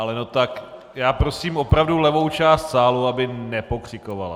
Ale no tak, já prosím opravdu levou část sálu, aby nepokřikovala.